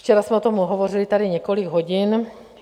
Včera jsme o tom hovořili tady několik hodin.